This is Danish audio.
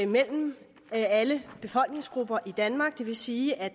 mellem alle befolkningsgrupper i danmark det vil sige at